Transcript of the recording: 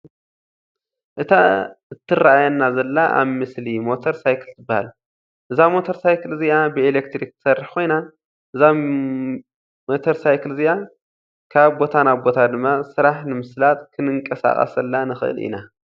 እታ ትረአየና ዘላ ኣብ ምስሊ ሞተር ሳይክል ትባሃል። እዛ ሞተር ሳይክል እዚኣ ብኤሌትሪክ ትሰርሕ ኮይና እዛ ሚተር ሳይክል እዚኣ ካብ ቦታ ናብ ቦታ ድማ ስራሕ ንምስላጥ ክንቀሳቀሰላ ንክእል ኢና።